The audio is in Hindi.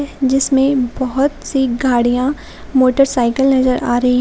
जिसमें बहुत सी गाड़ियां मोटरसाइकिल नजर आ रही--